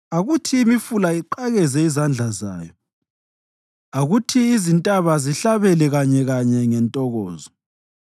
Akuthi imifula iqakeze izandla zayo, akuthi izintaba zihlabele kanyekanye ngentokozo;